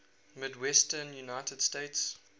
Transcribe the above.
midwestern united states